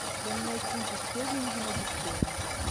поменять фунты стерлингов на биткоин